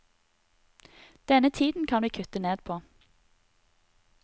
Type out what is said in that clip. Denne tiden kan vi kutte ned på.